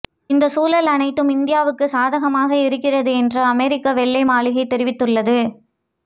இந்த சூழல் அனைத்தும் இந்தியாவுக்கு சாதகமாக இருக்கிறது என்று அமெரிக்க வெள்ளை மாளிகை தெரிவித்துள்ளது